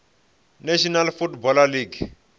national football league